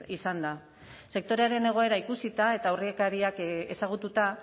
izan da sektorearen egoera ikusita eta aurrekariak ezagututa